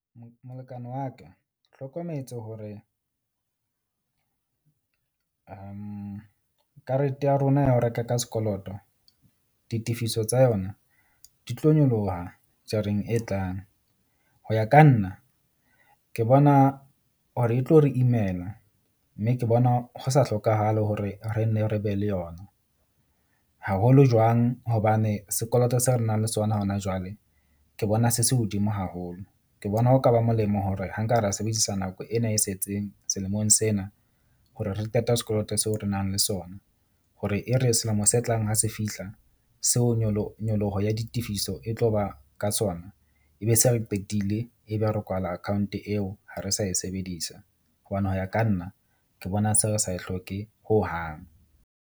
Molekane wa ka hlokometse hore karete ya rona ya ho reka ka sekoloto ditefiso tsa yona di tlo nyoloha jareng e tlang. Ho ya ka nna ke bona hore e tlo re imela mme ke bona ho sa hlokahale hore re nne re be le yona haholo jwang. Hobane sekoloto seo re nang le sona hona jwale, ke bona se se hodimo haholo. Ke bona ho ka ba molemo hore ha nka ra sebedisa nako ena e sa etseng selemong sena hore re qete sekoloto seo re nang le sona hore e re selemo se tlang ho se fihla seo nyoloho ya ditefiso e tlo ba ka sona, ebe se re qetile ebe re kwala account eo ha re sa e sebedisa, hobane ho ya ka nna ke bona se re sa e hloke hohang.